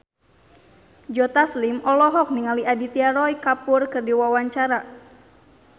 Joe Taslim olohok ningali Aditya Roy Kapoor keur diwawancara